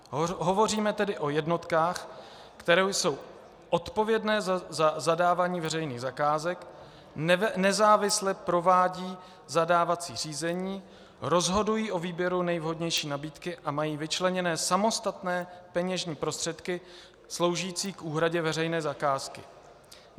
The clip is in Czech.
Hovoříme tedy o jednotkách, které jsou odpovědné za zadávání veřejných zakázek, nezávisle provádějí zadávací řízení, rozhodují o výběru nejvhodnější nabídky a mají vyčleněné samostatné peněžní prostředky sloužící k úhradě veřejné zakázky.